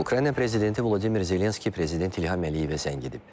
Ukrayna prezidenti Vladimir Zelenski prezident İlham Əliyevə zəng edib.